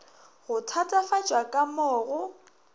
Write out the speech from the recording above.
go thatafatšwa ka mo go